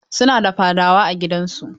Su na da fadawa a gidan su.